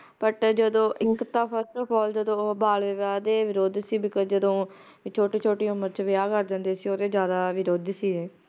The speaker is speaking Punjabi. but ਜਦੋ ਇੱਕ ਤਾਂ first of all ਉਹ ਜਦੋ ਉਹ ਬਾਲ ਵਿਵਾਹ ਦੇ ਵਿਰੁੱਧ ਸੀ because ਜਦੋ ਛੋਟੀ ਛੋਟੀ ਉਮਰ ਚ ਵਿਆਹ ਕਰ ਦਿੰਦੇ ਸੀ ਓਹਦੇ ਜ਼ਯਾਦਾ ਵਿਰੋਧੀ ਸੀ ਇਹ